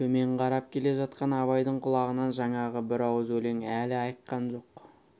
төмен қарап келе жатқан абайдың құлағынан жаңағы бір ауыз өлең әлі айыққан жоқ